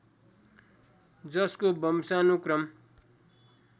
जसको वंशानुक्रम